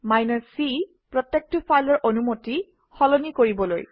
c প্ৰত্যেকটো ফাইলৰ অনুমতি সলনি কৰিবলৈ